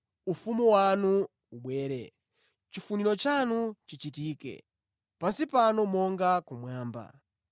Ufumu wanu ubwere, chifuniro chanu chichitike pansi pano monga kumwamba.